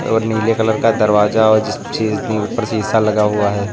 और नीले कलर का दरवाजा और ऊपर शीशा लगा हुआ है।